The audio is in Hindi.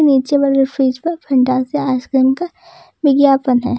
नीचे वाले फ्रिज पर फैंटास्टिक आइसक्रीम का विज्ञापन है।